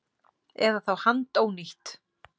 Eða þá handónýtt.